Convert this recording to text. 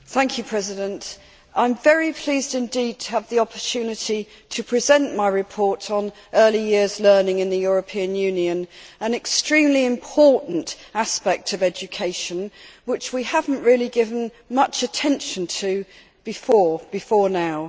Mr President, I am very pleased indeed to have the opportunity to present my report on early years learning in the European Union, which is an extremely important aspect of education that we have not really given much attention to before now.